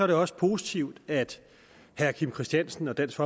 det også positivt at herre kim christiansen og dansk